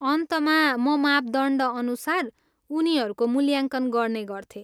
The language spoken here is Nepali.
अन्तमा, म मापदण्डअनुसार उनीहरूको मूल्याङ्कन गर्ने गर्थेँ।